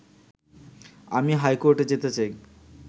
আমি হাইকোর্টে যেতে চাই